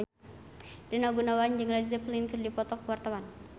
Rina Gunawan jeung Led Zeppelin keur dipoto ku wartawan